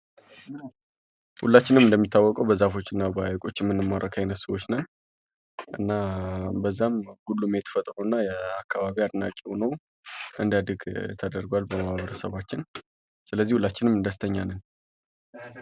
ሁላችንም እንደሚትወቀው በዛፎችና በሃይቆች የምንማረክ አይነት ሰዎች ነን እና በዛም ሁሉም የተፈጥሮና የአካባቢው አድናቂ ሆኖ እንዲያድግ ተደርጓል በማህበረሰባችን ስለዚህ ሁላችንም ደስተኛ ነን።